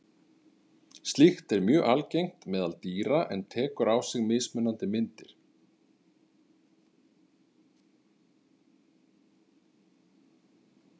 Slíkt er mjög algengt meðal dýra en tekur á sig mismunandi myndir.